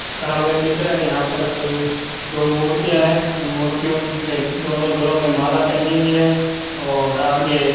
सामने दिख रहा है यहां पर कोई दो मूर्तियां है मूर्तियों के दोनों गलों में माला पहनी हुई है और आगे --